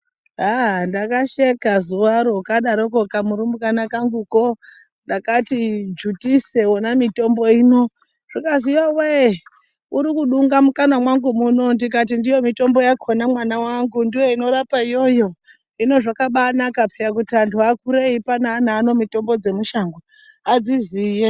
Ndakasheka zuwaro kadaroko kamurunbwana kangu ndakati dzvutise wona mitombo uno kukazi yowe urikudunga mukanwa mangu muno ndikati ndiyo mutombo yakona mwanangu ndoinorapa iyoyo. Hino zvakabakaka kuti antu akure eipa ana mitombo dzemushango, adziziye.